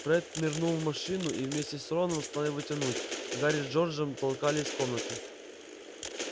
фред нырнул в машину и вместе с роном стал его тянуть гарри с джорджем толкали из комнаты